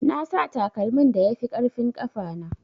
Nasa takalmin da yafi ƙarfin ƙafana.